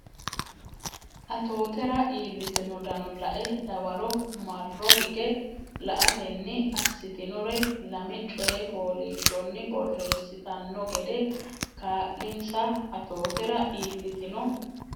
Atootera iillitino dano la e dawaro marro higge la atenni assitinore lame coy fooliishshonni borreessitanno gede kaa linsa Atootera iillitino.